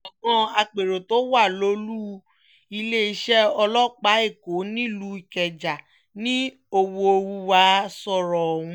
gbọ̀ngàn àpérò tó wà lólù-iléeṣẹ́ ọlọ́pàá èkó nílùú ìkẹjà ni ọ̀wọ̀húnwá sọ̀rọ̀ ọ̀hún